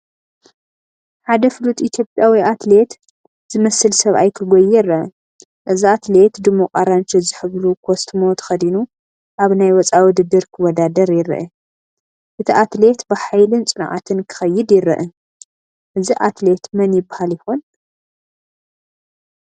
ሓደ ፍሉጥ ኢትዮጵያዊ ኣትሌት ዝመስል ሰብኣይ ክጎዪ ይርአ። እዚ ኣትሌት ድሙቕ ኣራንሺ ዝሕብሩ ኮስትሞ ተኸዲኑ ኣብ ናይ ወጻኢ ውድድር ክወዳደር ይረአ። እቲ ኣትሌት ብሓይልን ጽንዓትን ክኸይድ ይረአ። እዚ ኣትሌት መን ይባሃል ይኾን?